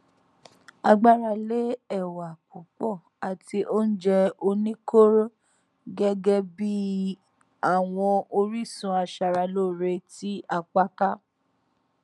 à gbára lé ẹwà púpọ àti àwọn oúnjẹ oníkóró gẹgẹ bí i àwọn orísun aṣara lóore tí apá ká